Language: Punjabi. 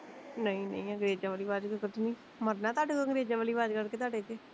ਨਈਂ ਨਈਂ ਅੰਗਰੇਜਾਂ ਵਾਲੀ ਵਾਜ ਕਿਉਂ ਕੱਡਣੀ, ਮਰਨਾ ਤਾਡੇ ਕੋਲੋਂ ਅੰਗਰੇਜਾਂ ਵਾਲੀ ਵਾਜ ਕੱਡਕੇ ਤਾਡੇ ਤੋਂ